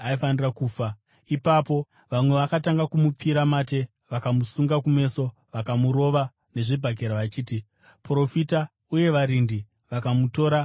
Ipapo vamwe vakatanga kumupfira mate; vakamusunga kumeso, vakamurova nezvibhakera, vachiti, “Profita!” Uye varindi vakamutora vakamurova.